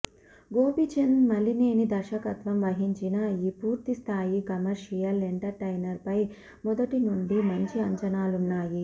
గోపిచంద్ మలినేని దర్శకత్వం వహించిన ఈ పూర్తిస్థాయి కమర్షియల్ ఎంటర్టైనర్ పై మొదటి నుండి మంచి అంచనాలున్నాయి